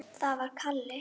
Það var Kalli.